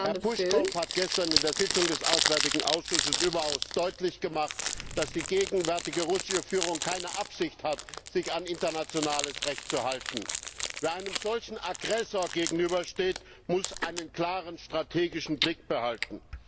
Herr Puschkow hat gestern in der Sitzung des Auswärtigen Ausschusses überaus deutlich gemacht, dass die gegenwärtige russische Führung keine Absicht hat, sich an internationales Recht zu halten. Wer einem solchen Aggressor gegenübersteht, muss einen klaren strategischen Blick behalten.